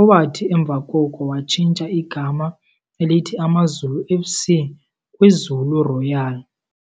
owathi emva koko watshintsha igama elithi AmaZulu F.C. kwiZulu Royal.